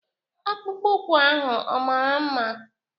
Akpụkpọ ụkwu ahụ ọ mara mma?